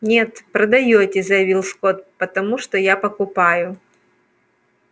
нет продаёте заявил скотт потому что я покупаю